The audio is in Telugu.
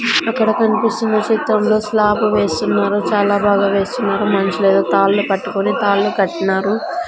అక్కడ కన్పిస్తున్న చిత్రంలో స్లాబు వేస్తున్నారు చాలా బాగా వేస్తున్నారు మనుషులేదో తాడ్లు కట్టుకొని తాళ్లు కట్టినారు.